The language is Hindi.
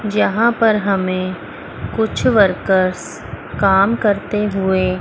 जहां पर हमें कुछ वर्कर्स काम करते हुए--